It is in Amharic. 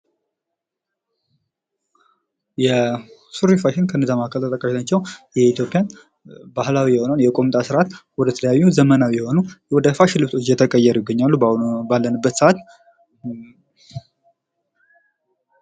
ሱሪ ፋሽን ከነዛ መሃል ተጠቃሽ ናቸው። የኢትዮጵያ ባህላዊ የሆነውን የቁምጣ ስርዓት ወደ የተለያዩ ዘመናዊ የሆኑ ወደ ፋሽን ልብሶች እየተቀየሩ ይገኛሉ። በአሁኑ ባለንበት ሰዓት